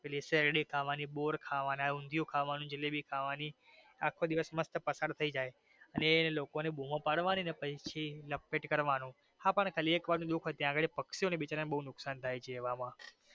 પછી શેરડી ખાવાની બોર ખાવાના ઉંધયું ખાવાનું જલેબી ખાવાની આખો દિવસ મસ્ત પસાર થઈ જાય અને લોકો ને બૂમો પાડવાની અને પછી પક્ષી ઓને બિચારા ને બો નુકસાન થાય છે.